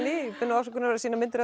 í bið afsökunar á að sýna myndir af